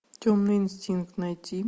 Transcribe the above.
темный инстинкт найти